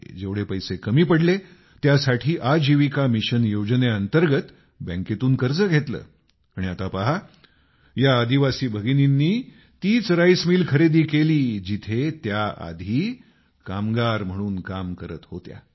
जेवढे पैसे कमी पडले त्यासाठी आजीविका मिशन योजनेअंतर्गत बँकेतून कर्ज घेतलं आणि आता पहा या आदिवासी भगिनींनी तीच राईस मिल खरेदी केली जिथे त्या कधी कामगार म्हणून काम करत होत्या